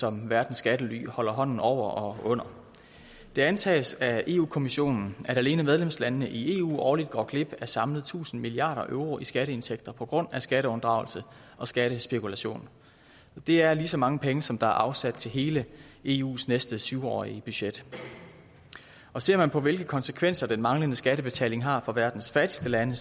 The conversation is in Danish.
som verdens skattely holder hånden over og under det antages af europa kommissionen at alene medlemslandene i eu årligt går glip af samlet tusind milliard euro i skatteindtægter på grund af skatteunddragelse og skattespekulation det er lige så mange penge som der er afsat til hele eus næste syv årige budget ser man på hvilke konsekvenser den manglende skattebetaling har for verdens fattigste lande